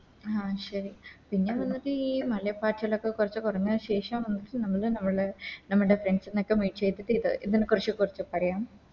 ആ ശരി പിന്നെ ഈ മലപ്പച്ചാലൊക്കെ കൊറച്ച് കൊറഞ്ഞ ശേഷം നമുക്ക് നമ്മുട നമ്മളെ Friends നോക്കെ Meet ചെയ്തിട്ട് എ ഇത് ഇതിനെക്കുറിച്ച് കൂടുതൽ പറയാം